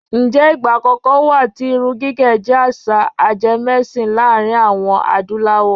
ǹjẹ́ ìgbà kankan wà tí irun gígẹ̀ jẹ́ àṣà ajemẹ́sìn láàrin àwọm Adúláwọ̀?